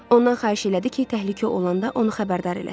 Ondan xahiş elədi ki, təhlükə olanda onu xəbərdar eləsin.